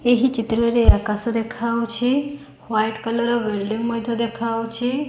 ଏହି ଚିତ୍ରରେ ଆକାଶ ଦେଖାଯାଉଚି ୱାଇଟ୍ କଲର୍ ବିଲଡିଙ୍ଗି ମଧ୍ୟ ଦେଖାଯାଉଛି।